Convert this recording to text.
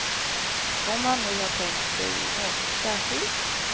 Om han nu har tänkt sig något särskilt.